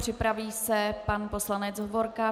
Připraví se pan poslanec Hovorka.